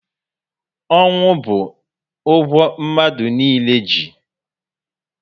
Ọnwụ bu ụgwọ mmadụ niile ji